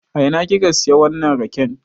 A ina ki ka siya wannan raken?